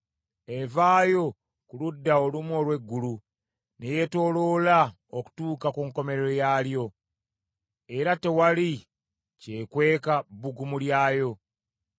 Evaayo ku ludda olumu olw’eggulu, ne yeetooloola okutuuka ku nkomerero yaalyo, era tewali kyekweka bbugumu lyayo.